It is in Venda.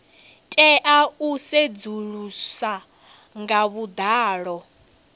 tea u sedzuluswa nga vhuḓalo